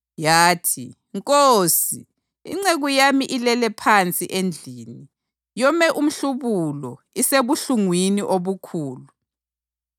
Yathi, “Nkosi, inceku yami ilele phansi endlini, yome umhlubulo, isebuhlungwini obukhulu.”